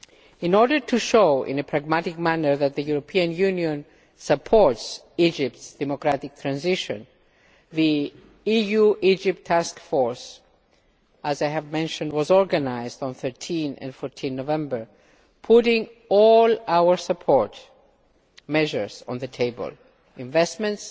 In order to show in a pragmatic manner that the European Union supports Egypt's democratic transition, the EU Egypt Task Force, as I have mentioned, was organised on 13 and 14 November, putting all our support measures on the table investments,